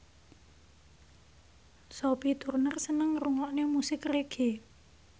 Sophie Turner seneng ngrungokne musik reggae